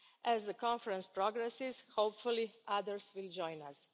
As the Conference progresses, hopefully, others will join